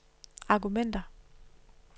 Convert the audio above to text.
argumenter